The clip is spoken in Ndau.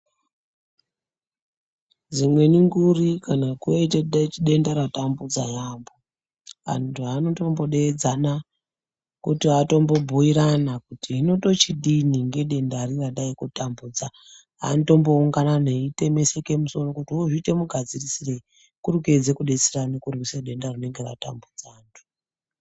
Dzimweni nguri kana kwaite denda ratambudza yambo antu anotombodedzana kuti atombobhuirana kuti hino tochidini ngedenda ri radai kutambudza anotomboungana veitemeseke musoro ozviite mugadzirisirei kuri kuyedza kudetserana kurwisa denda rinenge ratambudza antu.